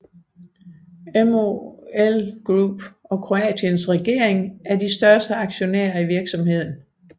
MOL Group og Kroatiens regering er de største aktionærer i virksomheden